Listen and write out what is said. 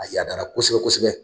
A yadaara kosɛbɛ kosɛbɛ